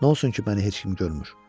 Nə olsun ki, məni heç kim görmür?